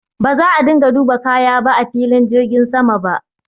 Ba za a dinga duba kaya ba a filin jirgin sama ba.